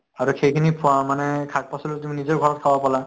আৰু সেইখিনি ফ মানে শাক পাচলী তুমি নিজৰ ঘৰত খাব পালা